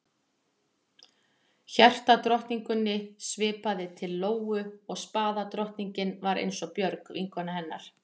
Hjartadrottningunni svipaði til Lóu og spaðadrottningin var eins og Björg, vinkona hennar.